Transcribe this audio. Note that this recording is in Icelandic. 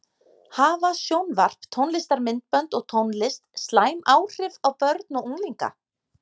Hafa sjónvarp, tónlistarmyndbönd og tónlist, slæm áhrif á börn og unglinga?